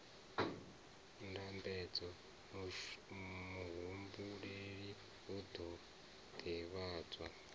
ndambedzo muhumbeli u ḓo ḓivhadzwa